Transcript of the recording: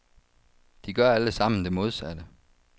De gør alle sammen det modsatte.